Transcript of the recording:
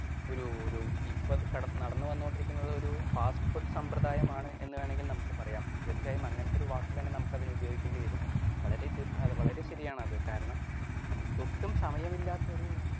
ഒരു ഒരു ഇപ്പൊ നടന്നുവന്നോണ്ടിരിക്കുന്നത് ഒരു ഫാസ്റ്റ് ഫുഡ് സമ്പ്രദായമാണ് എന്നുവേണമെങ്കിൽ നമുക്ക് പറയാം. തീർച്ചയായും അങ്ങനത്തെ ഒരു വാക്ക് തന്നെ നമുക്ക് അതിന് ഉപയോഗിക്കേണ്ടി വരും വളരെ വളരെ ശരിയാണത് കാരണം ഒട്ടും സമയമില്ലാത്ത ഒരു